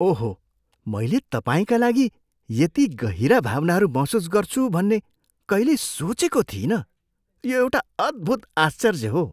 ओहो! मैले तपाईँका लागि यति गहिरा भावनाहरू महसुस गर्छु भन्ने कहिल्यै सोचेको थिइनँ। यो एउटा अद्भुत आश्चर्य हो।